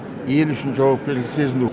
ел үшін жауапкершілікті сезіну